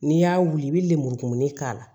N'i y'a wuli i bɛ lemuru kumuni k'a la